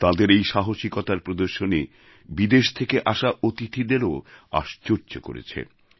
তাঁদের এই সাহসিকতার প্রদর্শনী বিদেশ থেকে আসা অতিথিদেরও আশ্চর্য করেছে